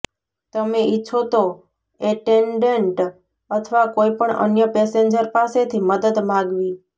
તમે ઈચ્છો તો એટેન્ડન્ટ અથવા કોઈ પણ અન્ય પેસેન્જર પાસેથી મદદ માગવી